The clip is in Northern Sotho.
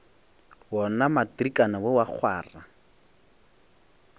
wona matrikana wo wa kgwara